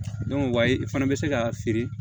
wayi i fana bɛ se k'a feere